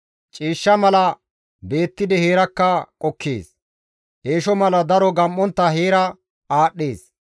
Ciishsha mala beettidi heerakka qokkees; eesho mala daro gam7ontta heera aadhdhees.